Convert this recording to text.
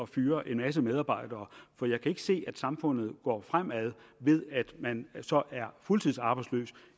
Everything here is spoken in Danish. fyre en masse medarbejdere for jeg kan ikke se at samfundet går fremad ved at man er fuldtidsarbejdsløs